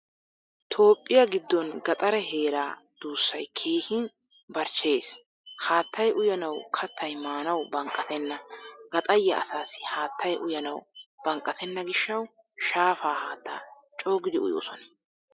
Toophphiyaa giddon gaxare heeraa dussay keehin barchcheyees. Haattay uyanawu kattay maanawu banqqattena. Gaxariyaa asaasi haattaay uyanawu banqqatena gishshawu shaafaa haattaa cogidi uyoosona.